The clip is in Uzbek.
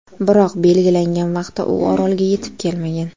Biroq belgilangan vaqtda u orolga yetib kelmagan.